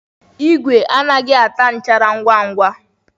Igwe anaghị ata nchara ngwa ngwa.